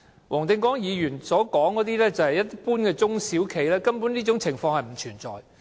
黃定光議員所談到的是一般中小企，中小企根本不會出現這些情況。